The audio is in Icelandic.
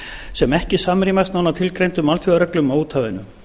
sem ekki samrýmast nánar tilgreindum alþjóðareglum á úthafinu